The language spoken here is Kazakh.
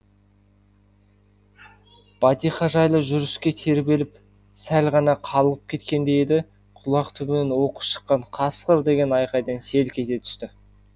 бәтиха жайлы жүріске тербеліп сәл ғана қалғып кеткендей еді құлақ түбінен оқыс шыққан қасқыр деген айқайдан селк ете түсті